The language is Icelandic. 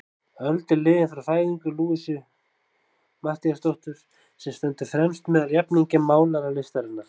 Öld er liðin frá fæðingu Louisu Matthíasdóttur, sem stendur fremst meðal jafningja málaralistarinnar.